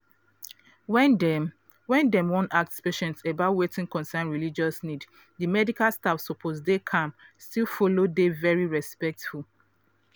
when dem when dem wan ask patient about wetin concern religious needs di medical staff suppose dey calm still follow dey very respectful.